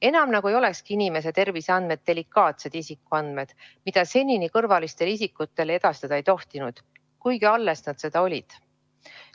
Enam nagu ei olekski inimese terviseandmed delikaatsed isikuandmed, mida senini kõrvalistele isikutele edastada ei tohtinud, kuigi alles nad seda olid.